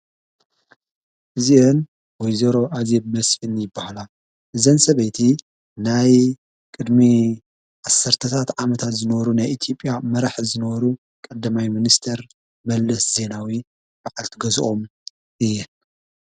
እዚእን ጐይዜይሮ ኣዚብ መስኒ ይበሃላ ዘን ሰበይቲ ናይ ቕድሚ ዓሠርተታት ዓመታት ዝነሩ ናይኢቲጵያ መራሕ ዝንበሩ ቐደማይ ምንስተር መለስ ዜናዊ በዓልቲ ገዝኦም እየን።